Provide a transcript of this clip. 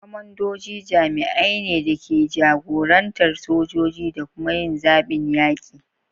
Kwamandoji jami'ai ne da ke jagorantar sojoji da kuma yin zaɓin yaƙi.